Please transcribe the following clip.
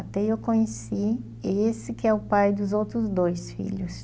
Até eu conheci esse que é o pai dos outros dois filhos.